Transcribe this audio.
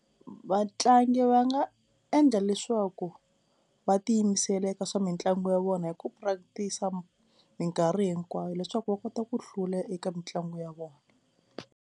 Vatlangi va nga endla leswaku va tiyimisela eka swa mitlangu ya vona hi ku practice a minkarhi hinkwayo leswaku va kota ku hlula eka mitlangu ya vona.